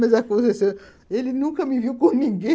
Mas a Conceição, ele nunca me viu com ninguém.